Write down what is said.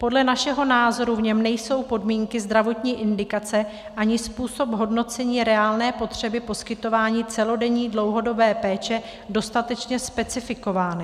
Podle našeho názoru v něm nejsou podmínky zdravotní indikace ani způsob hodnocení reálné potřeby poskytování celodenní dlouhodobé péče dostatečně specifikovány.